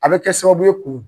A be kɛ sababu ye k'u